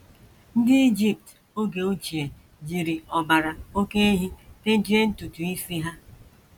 Ndị Ijipt oge ochie jiri ọbara oké ehi tejie ntutu isi ha.